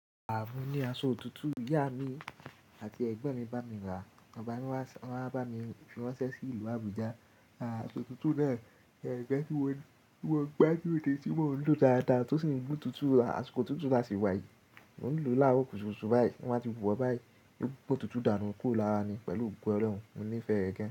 Àwọn ni aṣọ tuntun ìyá mi àti ẹ̀gbọ́n mi bá mi rà. Baba mi wá, wọ́n á bá mi fúnṣẹ́ sí ìlú Abuja. À àṣọ tuntun náà, ẹgbẹ́ tí wọ́n, tí wọ́n gbá lóde tí wọ́n ń lò dáadáa tí ó sì ń gbé tuntun, aṣọ tuntun láti wá yìí. Mo ń lò láàárọ̀ kùtùkùtù báyìí, wọ́n ti bùwọ́ báyìí, ó gbé tuntun dànù kúrò lára mi pẹ̀lú òògùn ẹlẹ́wọ̀n. Mo nífẹ̀ẹ́ ẹgbẹ́.